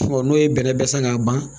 n'o ye bɛnɛ san ka ban